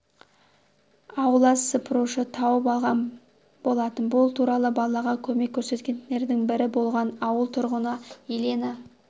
аула сыпырушы тауып алған болатын бұл туралы балаға көмек көрсеткендердің бірі болған ауыл тұрғыны елена